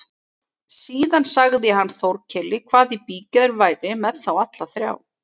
Síðan sagði hann Þórkeli hvað í bígerð væri með þá alla þrjá.